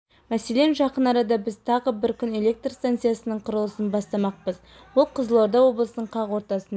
мәселен жақын арада біз тағы бір күн электр станциясының құрылысын бастамақпыз ол қызылорда облысының қақ ортасында